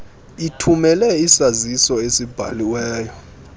ithumele isaziso esibhaliweyo